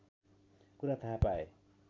कुरा थाहा पाए